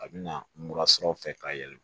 A bɛ na mura sɔrɔ ka yɛlɛma